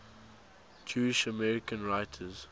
jewish american writers